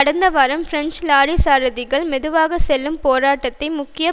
கடந்த வாரம் French lorry சாரதிகள் மெதுவாக செல்லும் போராட்டத்தை முக்கிய